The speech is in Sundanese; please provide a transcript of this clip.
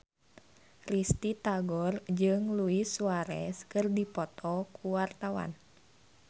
Risty Tagor jeung Luis Suarez keur dipoto ku wartawan